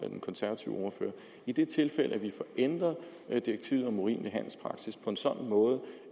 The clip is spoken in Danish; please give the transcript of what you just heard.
den konservative ordfører i det tilfælde at vi får ændret direktivet om urimelig handelspraksis på en sådan måde